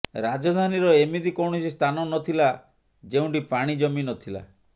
ରାଜଧାନୀର ଏମିତି କୌଣସି ସ୍ଥାନ ନଥିଲା ଯେଉଁଠି ପାଣି ଜମି ନଥିଲା